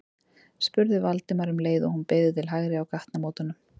spurði Valdimar um leið og hún beygði til hægri á gatnamótunum.